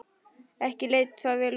Ekki leit þetta vel út.